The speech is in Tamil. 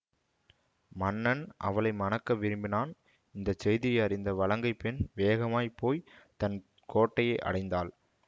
மன்னன் அவளை மணக்க விரும்பினான் இந்த செய்தியை அறிந்த வலங்கைப் பெண் வேகமாக போய் தன் கோட்டையை அடைந்தாள்